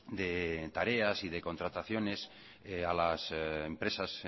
de tareas y de contrataciones a las empresas